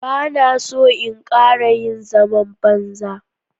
Ba na so in ƙara yin zaman banza.